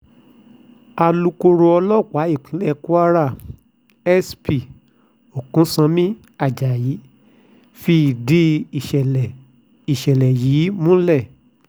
alūkkóró ọlọ́pàá ìpínlẹ̀ kwara sp oksanami ajayi ti fìdí ìṣẹ̀lẹ̀ ìṣẹ̀lẹ̀ yìí múlẹ̀